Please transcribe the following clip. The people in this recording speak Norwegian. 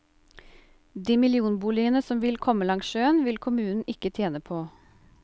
De millionboligene som vil komme langs sjøen, vil kommunen ikke tjene på.